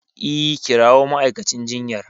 E, kirawo ma'aikacin jinyar.